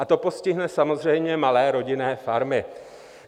A to postihne samozřejmě malé rodinné farmy.